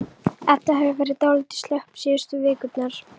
Edda hefur verið dálítið slöpp síðustu vikurnar.